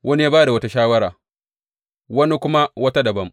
Wani ya ba da wata shawara, wani kuma wata dabam.